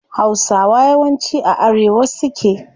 Hausawa yawanci a arewa suke